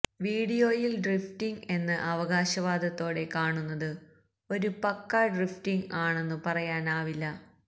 വീഡിയോയില് ഡ്രിഫ്റ്റിംഗ് എന്ന അവകാശവാദത്തോടെ കാണുന്നത് ഒരു പക്കാ ഡ്രിഫ്റ്റിംഗ് ആണെന്നു പറയാനാവില്ല